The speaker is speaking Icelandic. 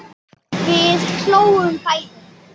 Við hlógum bæði.